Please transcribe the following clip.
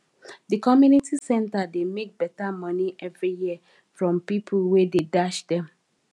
the community center dey make better money every year from people wey dey dash dem